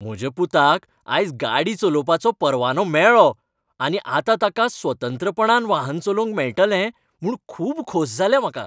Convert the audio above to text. म्हज्या पुताक आयज गाडी चलोवपाचो परवानो मेळ्ळो आनी आतां ताका स्वतंत्रपणान वाहन चलोवंक मेळटलें म्हूण खूब खोस जाल्या म्हाका.